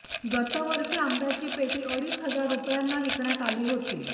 गतवर्षी आंब्याची पेटी अडीच हजार रुपयांना विकण्यात आली होती